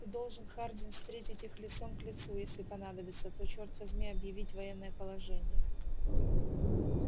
ты должен хардин встретить их лицом к лицу если понадобится то черт возьми объявить военное положение